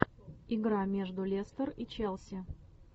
игра между лестер и челси